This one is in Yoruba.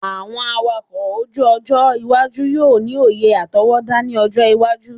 Awọn awakọ oju-ojo iwaju yoo ni oye atọwọda ni ọjọ iwaju